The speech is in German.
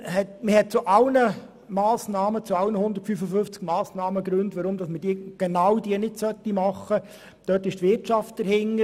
Allerdings gibt es bei allen 155 Massnahmen Gründe, um genau auf diese Massnahme zu verzichten.